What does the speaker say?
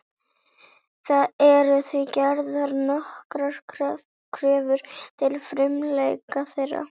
Það eru því gerðar nokkrar kröfur til frumleika þeirra.